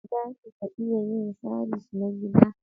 Zaki ka iyan yin sabis na gida?.